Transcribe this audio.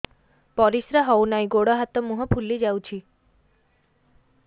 ପରିସ୍ରା ହଉ ନାହିଁ ଗୋଡ଼ ହାତ ମୁହଁ ଫୁଲି ଯାଉଛି